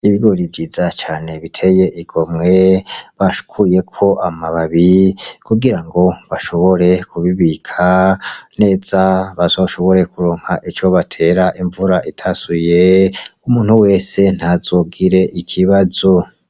Ibigori vyiza cane biteye igomwe bakuyeko amababi kugira ngo bashobore kubibika neza bazoshobore kuronka ico batera imvura itasuye umuntu wese ntazogire ikibazo.